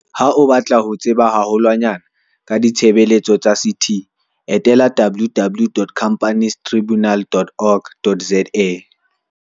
Ha o batla ho tseba haho lwanyane ka ditshebeletso tsa CT, etela www.companiestribu nal.org.za.